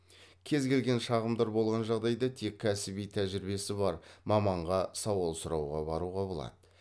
кез келген шағымдар болған жағдайда тек кәсіби тәжірибесі бар маманға сауал сұрауға баруға болады